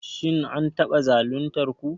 Shin an taba zaluntar ku?